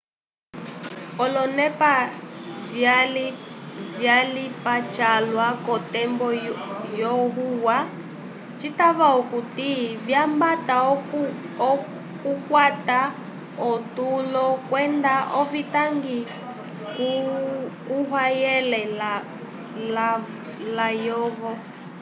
oloneke vyalipe calwa k'otembo yohuya citava okuti vyambata okukwata otulo kwenda ovitangi kuhayele layovo